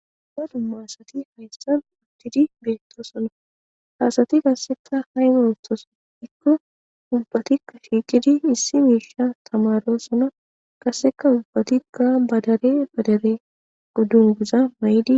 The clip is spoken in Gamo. Ba dum maasati hayssan udtidi beettoo sona hasati kasseka hay we uftos dhikko ubbatikka shiiqidi issi miisha tamaro sona qasseka ubbatikka badare badare guddun guza may'idi.